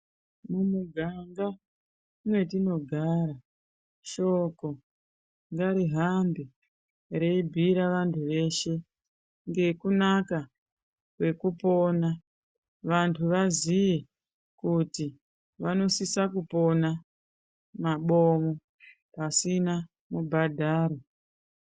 Mumiganga metinogara, shoko ngarihambe reibhiyira vantu veshe ngekunaka kwekupona. Vantu vaziye kuti vanosisa kupona mabomo pasina mubhadharo.